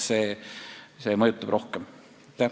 See mõjutab hindu rohkem.